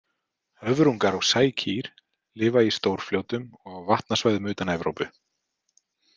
Höfrungar og sækýr lifa í stórfljótum og á vatnasvæðum utan Evrópu.